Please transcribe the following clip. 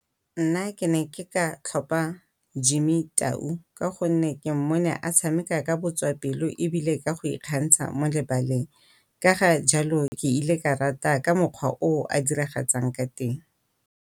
Nna ke ne ke ka tlhopha Jimmy Tau ka gonne ke mmone a tshameka ka botswapelo ebile ka go go ikgantsha mo lebaleng. Ka ga jalo ke ile ka rata ka mokgwa o o a diragatsang ka teng.